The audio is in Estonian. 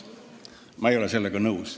Ma ei ole sellega nõus.